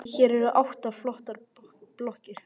Hér eru átta flottar blokkir.